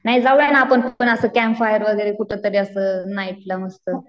नाही जाऊया ना आपण असं कॅम्प फायर वगैरे कुठंतरी असं नाईटला मस्त.